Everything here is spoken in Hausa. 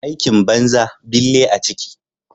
Aikin banza bille a ciki.